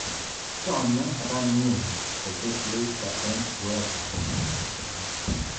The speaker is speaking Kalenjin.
Some Ranieri kosiir leister eng UEFA